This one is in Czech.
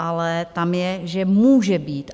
Ale tam je, že může být.